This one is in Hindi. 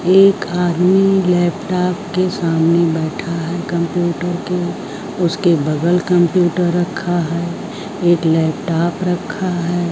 एक आदमी लैपटॉप के सामने बैठा है कंप्यूटर के उसके बगल कंप्यूटर रखा है एक लैपटॉप रखा है।